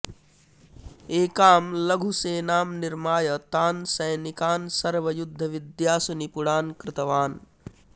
एकां लघुसेनां निर्माय तान् सैनिकान् सर्वयुद्धविद्यासु निपुणान् कृतवान्